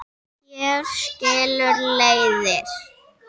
Hér skilur leiðir.